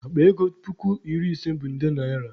Akpa ego puku iri ise bụ nde naịra.